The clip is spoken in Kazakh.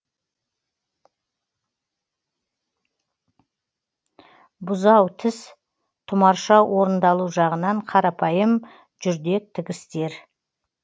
бұзау тіс тұмарша орындалу жағынан қарапайым жүрдек тігістер